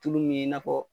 Tulu min ye i n'a fɔ